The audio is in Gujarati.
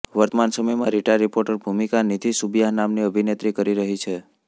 વર્તમાન સમયમાં રીટા રીપોર્ટરની ભૂમિકા નિધિ સુબિયાહ નામની અભિનેત્રી કરી રહી છે